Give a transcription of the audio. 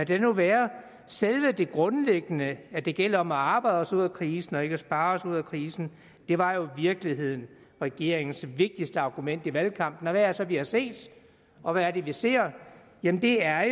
det nu være selve det grundlæggende at det gælder om at arbejde os ud af krisen og ikke at spare os ud af krisen var jo i virkeligheden regeringens vigtigste argument i valgkampen og hvad er det så vi har set og hvad er det vi ser jamen det er